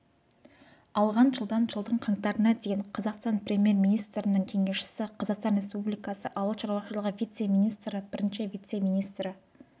алған жылдан жылдың қаңтарына дейін қазақстан премьер-министрінің кеңесшісі қазақстан республикасы ауыл шаруашылығы вице-министрі бірінші вице-министрі